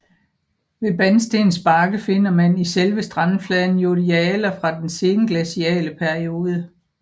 Ved Banstens Bakke finder man i selve strandfladen yoldialer fra den senglaciale periode